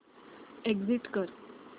exit कर